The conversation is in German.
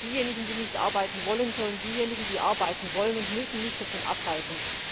Diejenigen, die nicht arbeiten wollen, sollen diejenigen, die arbeiten wollen und müssen, nicht davon abhalten.